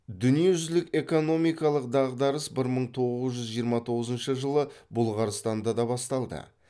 дүниежүзілік экономикалық дағдарыс бір мың тоғыз жүз жиырма тоғызыншы жылы бұлғарстанда да басталды